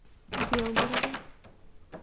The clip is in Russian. белгороду